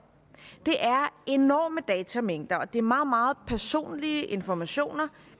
det er enorme datamængder og det er meget meget personlige informationer